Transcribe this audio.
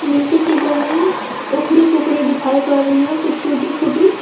नीचे की जमीन उखड़ी फुकड़ी दिखाई पड़ रही है कुछ टूटी फूटी।